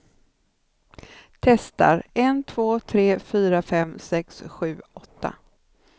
Testar en två tre fyra fem sex sju åtta.